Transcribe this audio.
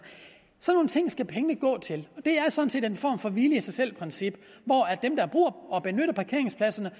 sådan nogle ting skal pengene gå til det er sådan set en form for hvile i sig selv princip hvor dem der bruger og benytter parkeringspladserne